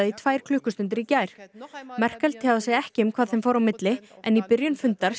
í tvær klukkustundir í gær Merkel tjáði sig ekki um hvað þeim fór á milli en í byrjun fundar